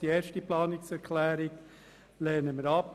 Die erste Planungserklärung lehnen wir ab: